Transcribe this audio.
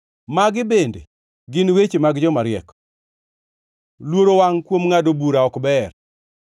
Magi bende gin weche mag jomariek: Luoro wangʼ kuom ngʼado bura ok ber: